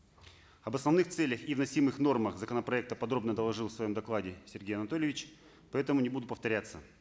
об основных целях и вносимых нормах законопроекта подробно доложил в своем докладе сергей анатольевич поэтому не буду повторяться